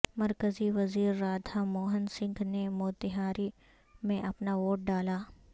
مرکزی وزیر رادھا موہن سنگھ نے موتیہاری میں اپنا ووٹ ڈالا